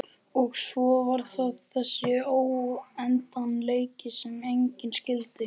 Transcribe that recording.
Og svo var það þessi óendanleiki sem enginn skildi.